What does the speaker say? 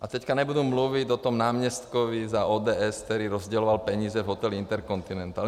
A teď nebudu mluvit o tom náměstkovi za ODS, který rozděloval peníze v hotelu InterContinental.